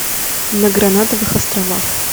на гранатовых островах